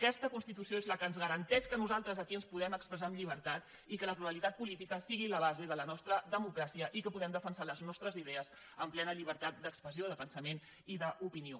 aquesta constitució és la que ens garanteix que nosaltres aquí ens puguem expressar amb llibertat i que la pluralitat política sigui la base de la nostra democràcia i que puguem defensar les nostres idees amb plena llibertat d’expressió de pensament i d’opinió